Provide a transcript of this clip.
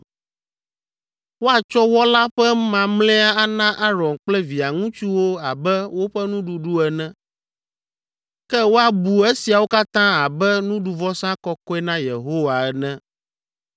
Woatsɔ wɔ la ƒe mamlɛa ana Aron kple via ŋutsuwo abe woƒe nuɖuɖu ene; ke woabu esiawo katã abe nuɖuvɔsa kɔkɔe na Yehowa ene.